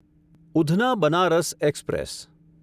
Udhna Banaras express